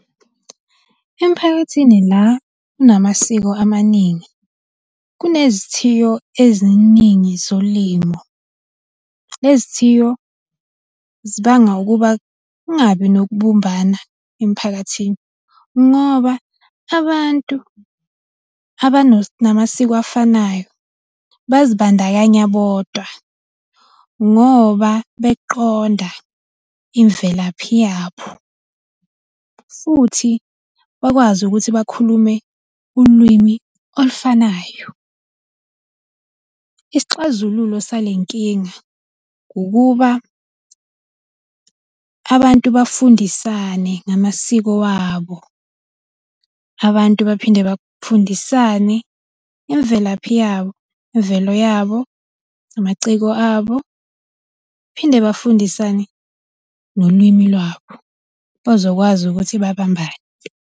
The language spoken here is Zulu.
Emiphakathini la kunamasiko amaningi, kunezithiyo eziningi zolimo. Lezi thiyo zibanga ukuba kungabi nokubumbana emiphakathini, ngoba abantu namasiko afanayo bazibandakanya bodwa, ngoba beqonda imvelaphi yabo, futhi bakwazi ukuthi bakhulume ulwimi olufanayo. Isixazululo sale nkinga ukuba abantu bafundisane ngamasiko wabo. Abantu baphinde bafundisane imvelaphi yabo, imvelo yabo, namaciko abo, phinde bafundisane nolwimi lwabo. Bazokwazi ukuthi babambane.